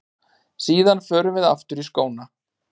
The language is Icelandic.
Síðan förum við aftur í skóna.